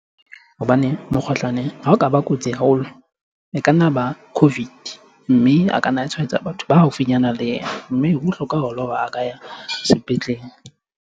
Hobane mokgohlane ha o ka ba kotsi haholo, e ka nna ba COVID. Mme a ka nna tshwaetsa batho ba haufinyana le yena. Mme ho bohlokwa haholo hore a ka ya sepetlele.